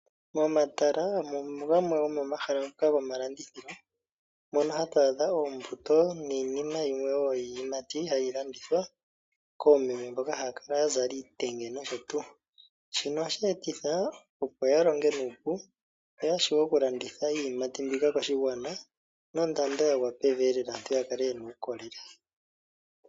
Omatala ogo gamwe gomomahala ngoka gomalandithilo moka hatu adha oombuto niinima wo yilwe yiiyimati mbyoka hayi landithwa koomeme mboka haya kala ya zala iitenge nosho tuu. Shino ohashi etitha opo ya longe nuupu yo ya vule okulanditha iiyimati mbika koshigwana nondando ya gwa pevi aantu ya kale ye na uukolele.